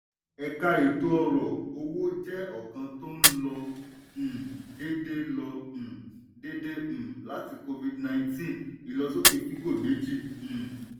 ẹ̀ka-ètò-ọrọ̀-owó jẹ́ ọ̀kan tó ń lọ um déédé lọ um déédé um láti covid-19 ìlọsókè fígọ̀-méjì. um